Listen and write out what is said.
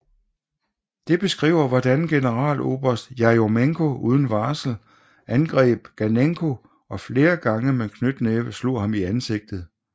Det beskriver hvordan generaloberst Jerjomenko uden varsel angreb Ganenko og flere gange med knytnæve slog ham i ansigtet